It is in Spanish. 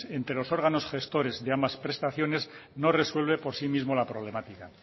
entre los órganos gestores de ambas prestaciones no resuelve por sí mismo la problemática